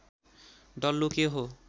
डल्लो के हो